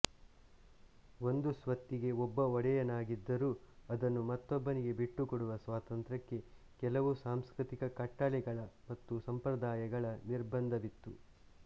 ಒಂದು ಸ್ವತ್ತಿಗೆ ಒಬ್ಬ ಒಡೆಯನಾಗಿದ್ದರೂ ಅದನ್ನು ಮತ್ತೊಬ್ಬನಿಗೆ ಬಿಟ್ಟುಕೊಡುವ ಸ್ವಾತಂತ್ರ್ಯಕ್ಕೆ ಕೆಲವು ಸಾಂಸ್ಕೃತಿಕ ಕಟ್ಟಳೆಗಳ ಮತ್ತು ಸಂಪ್ರದಾಯಗಳ ನಿರ್ಬಂಧವಿತ್ತು